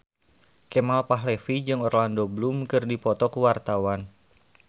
Kemal Palevi jeung Orlando Bloom keur dipoto ku wartawan